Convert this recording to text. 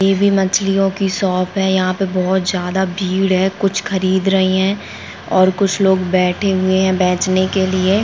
ये भी मछलियों की शॉप हैं यहाँ पे बहुत ज्यादा भीड़ हैं कुछ ख़रीद रही हैं और कुछ लोग बैठे हुए हैं के लिए।